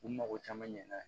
U mago caman ɲɛna